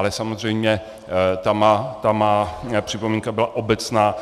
Ale samozřejmě ta má připomínka byla obecná,